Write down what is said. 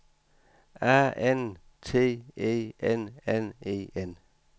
A N T E N N E N